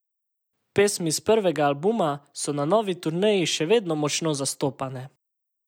Pesmi s prvega albuma so na novi turneji še vedno močno zastopane.